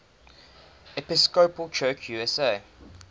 episcopal church usa